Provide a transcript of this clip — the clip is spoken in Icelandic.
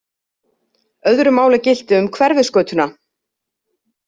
Öðru máli gilti um Hverfisgötuna.